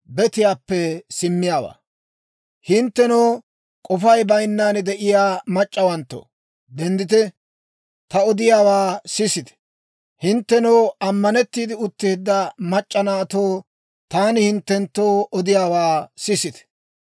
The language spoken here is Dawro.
Hinttenoo k'ofay bayinnan de'iyaa mac'c'awanttoo, denddite; ta odiyaawaa sisite; hinttenoo ammanettiide utteedda mac'c'a naatoo, taani hinttenttoo odiyaawaa sisite.